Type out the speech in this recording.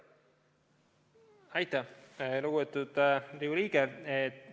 Aitäh, lugupeetud Riigikogu liige!